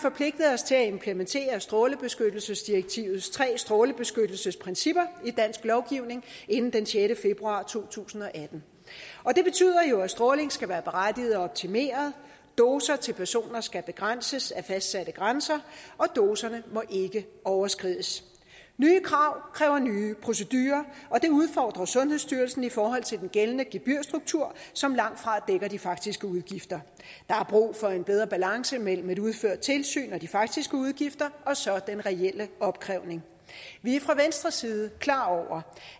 os til at implementere strålebeskyttelsesdirektivets tre strålebeskyttelsesprincipper i dansk lovgivning inden den sjette februar to tusind og atten og det betyder jo at stråling skal være berettiget og optimeret doser til personer skal begrænses af fastsatte grænser og doserne må ikke overskrides nye krav kræver nye procedurer og det udfordrer sundhedsstyrelsen i forhold til den gældende gebyrstruktur som langtfra dækker de faktiske udgifter der er brug for en bedre balance mellem et udført tilsyn og de faktiske udgifter og så den reelle opkrævning vi er fra venstres side klar over